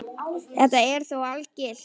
Þetta er þó ekki algilt.